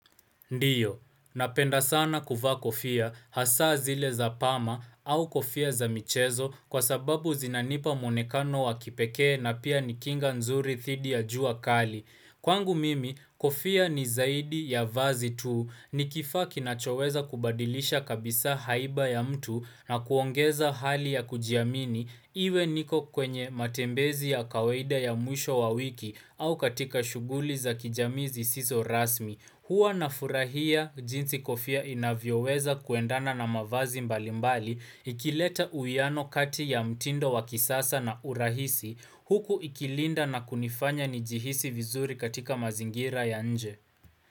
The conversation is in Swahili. Ndiyo, napenda sana kuvaa kofia, hasa zile za pama au kofia za michezo kwa sababu zinanipa muonekano wa kipekee na pia ni kinga nzuri dhidi ya jua kali. Kwangu mimi, kofia ni zaidi ya vazi tu ni kifaa kinachoweza kubadilisha kabisa haiba ya mtu na kuongeza hali ya kujiamini iwe niko kwenye matembezi ya kawaida ya mwisho wa wiki au katika shughuli za kijamii zisizo rasmi. Huwa nafurahia jinsi kofia inavyoweza kuendana na mavazi mbalimbali ikileta uwiano kati ya mtindo wa kisasa na urahisi huku ikilinda na kunifanya nijihisi vizuri katika mazingira ya nje.